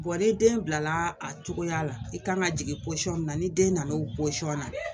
ne den bilala a cogoya la i kan ŋa jigin poɔn min na ni den nan'o posɔn na